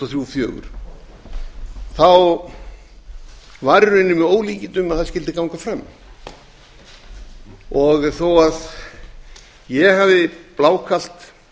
og fjögur var í rauninni með ólíkindum að það skyldi ganga fram þó að ég hafi blákalt